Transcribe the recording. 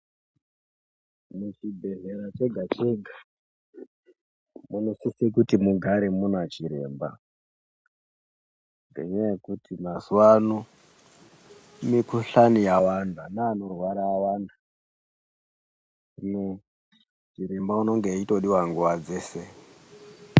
Muchibhedhlera chega chega munosise kuti mugare muna chiremba ngendaa yekuti mazuwano mikhuhlani yawanda neanorwara awanda hino chiremba unenge eitodiwa nguwa dzese .